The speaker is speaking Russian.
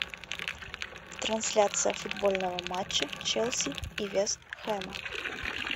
трансляция футбольного матча челси и вест хэма